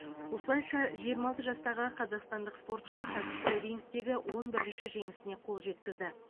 осылайша жиырма алты жастағы қазақстандық спортшы кәсіпқой рингтегі он бірінші жеңісіне қол жеткізді